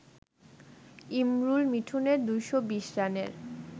ইমরুল-মিঠুনের ২২০ রানের